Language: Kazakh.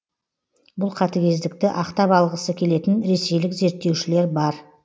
бұл қатігездікті ақтап алғысы келетін ресейлік зерттеушілер бар